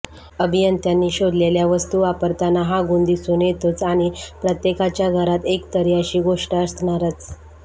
अभियंत्यांनी शोधलेल्या वस्तू वापरताना हा गुण दिसून येतोच आणी प्रत्येकाच्या घरात एकतरी अशी गोष्ट असणारच